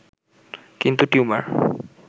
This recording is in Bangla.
কিন্তু টিউমার